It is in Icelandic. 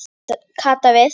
Kata við.